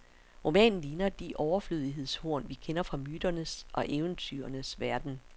Romanen ligner de overflødighedshorn, vi kender fra myternes og eventyrenes verden.